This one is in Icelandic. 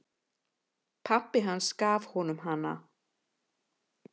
Pabbi hans gaf honum hana.